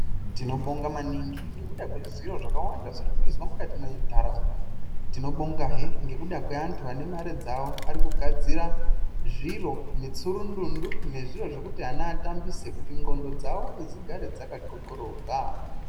Tinobonga maningi ngekuda kwezviro zvakawanda zviri kuizwa mukati mwentaraunda tinobongazve Ngekuda kweantu ane mare dzawo ari kugadzira zviro mutsurundundu nezviro zvekuti ana atambise kuti ndxondo dzawo dzigare dzakathothoroka.